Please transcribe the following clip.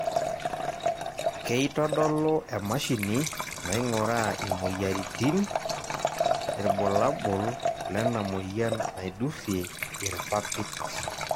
keitodolu emashini naing'uraa imoyianritin ilbulabol lena moyian naidurie irpapit.